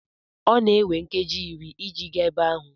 Ọ na-ewe m nkeji iri iji gaa ebe ahụ.